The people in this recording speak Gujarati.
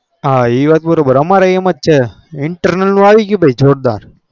હ એ વાત બરો બાર અમારે એમજ છે internal અવયું ગયું જોર દર